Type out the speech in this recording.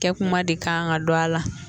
Kɛ kuma de kan ka don a la